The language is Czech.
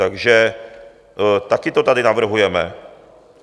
Takže také to tady navrhujeme.